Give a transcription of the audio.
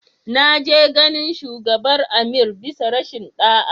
Na je ganin shugabar Amir bisa rashin da'a.